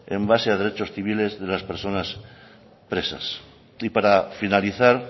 en base a derechos civiles de las personas presas y para finalizar